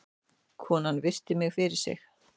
Konan virti mig fyrir sér.